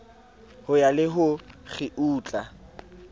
ho ya le ho kgiutla